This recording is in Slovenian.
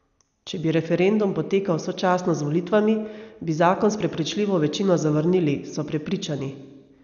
Če bi referendum potekal sočasno z volitvami, bi zakon s prepričljivo večino zavrnili, so prepričani.